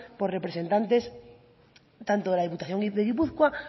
por representantes tanto de la diputación de gipuzkoa